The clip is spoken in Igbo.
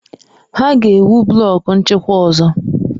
Ha ga-ewu blọku nchịkwa ọzọ.